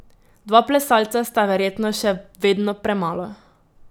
Dva plesalca sta verjetno še vedno premalo.